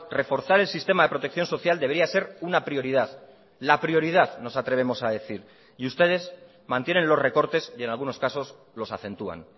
reforzar el sistema de protección social debería ser una prioridad la prioridad nos atrevemos a decir y ustedes mantienen los recortes y en algunos casos los acentúan